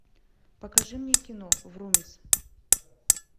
покажи мне кино врумиз